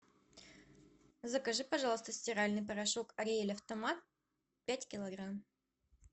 закажи пожалуйста стиральный порошок ариэль автомат пять килограмм